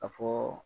A fɔ